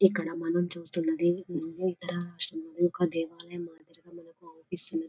ఇక్కడ మనం చూస్తూ ఉన్నది యొక్క దేవాలయము మాదిరిగా మనకు కనిపిస్తున్నది.